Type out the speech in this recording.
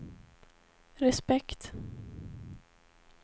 respekt